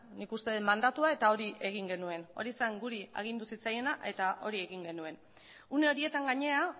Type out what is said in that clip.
nik uste dut mandatua eta hori egin genuen hori zen gure agindu zitzaiena eta hori egin genuen une horietan gainera